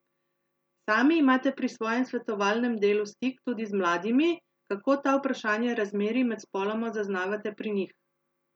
Sami imate pri svojem svetovalnem delu stik tudi z mladimi, kako ta vprašanja razmerij med spoloma zaznavate pri njih?